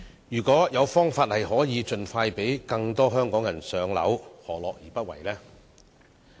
如果有方法盡快讓更多香港人"上樓"，何樂而不為呢？